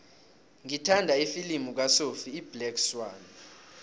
ngithanda ifilimu kasophie iblack swann